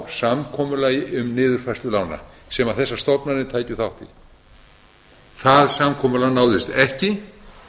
samkomulagi um niðurfærslu lána sem þessar stofnanir tækju þátt í það samkomulag náðist ekki